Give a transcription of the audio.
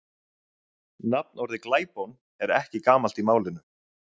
nafnorðið glæpon er ekki gamalt í málinu